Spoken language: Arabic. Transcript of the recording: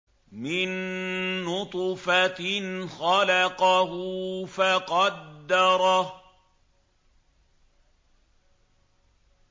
مِن نُّطْفَةٍ خَلَقَهُ فَقَدَّرَهُ